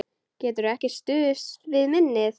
Geturðu ekki stuðst við minnið?